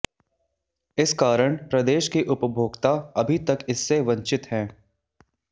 इस कारण प्रदेश के उपभोक्ता अभी तक इससे वंचित हैं